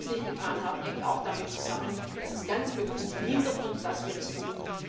Dass wir es nicht getan haben, hängt auch damit zusammen, dass ganz bewusst verhindert wird, dass wir es tun.